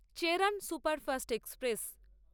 Cheran superfast express